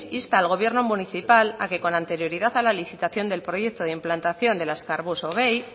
insta al gobierno municipal a que con anterioridad a la licitación del proyecto del azkar bus